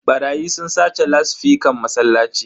Barayi sun sace lasifican masallaci.